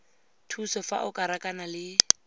thuso fa o rakana le